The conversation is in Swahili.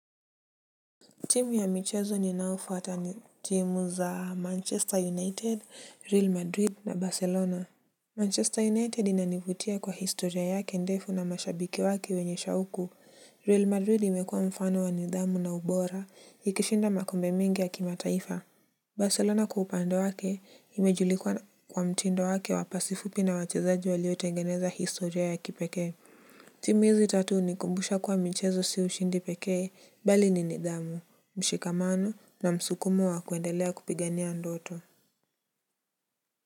Timu ya michezo ninaofuata ni timu za Manchester United, Real Madrid na Barcelona. Manchester United inanivutia kwa historia yake ndefu na mashabiki wake wenye shauku. Real Madrid imekuwa mfano wa nidhamu na ubora, ikishinda makombe mingi ya kimataifa. Barcelona kwa upande wake imejulikwa kwa mtindo wake wa pasi fupi na wachezaji waliotengeneza historia ya kipekee. Timu hizi tatu hunikumbusha kuwa michezo si ushindi pekee, bali ni nidhamu. Mshikamano na msukumo wa kuendelea kupigania ndoto.